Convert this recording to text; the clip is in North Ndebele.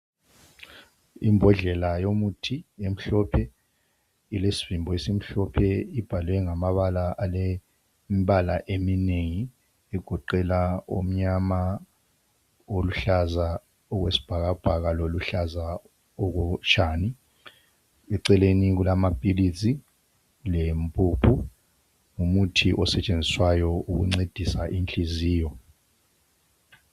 Imbodlela yomuthi emhlophe ilesivimbo esimhlophe ibhaliwe ngamabala alembala eminengi egoqela omnyama oluhlaza okwesibhakabhaka loluhlaza okutshani eceleni kulamaphilisi lempuphu ngumuthi osetshenziswayo ukuncedisa inhliziyo.